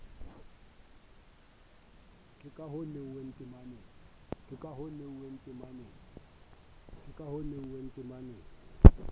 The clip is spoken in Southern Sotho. ka ha ho nahannwe temaneng